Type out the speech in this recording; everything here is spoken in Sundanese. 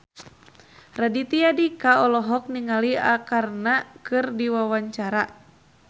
Raditya Dika olohok ningali Arkarna keur diwawancara